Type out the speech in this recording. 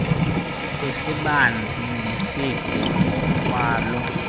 kwisibanzi neside ngokwaloo